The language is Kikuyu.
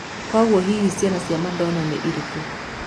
Kuoguo hihi ciana cia Madona nĩ irĩku?